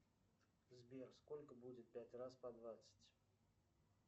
сбер сколько будет пять раз по двадцать